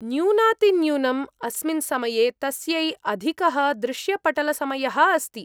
न्यूनातिन्यूनम् अस्मिन् समये तस्यै अधिकः दृश्यपटलसमयः अस्ति।